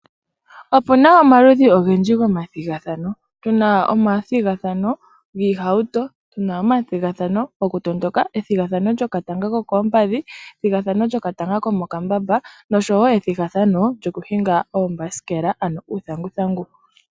Opuna omaludhi ogendji gomathigathano. Tuna omathigathano giihauto, omathigathano lyokutondoka, ethigathano lyokatanga kokoompadhi, ethigathano lyokatanga komokambamba nosho wo ethigathano lyokuhinga oombasikela ano uuthanguthangu.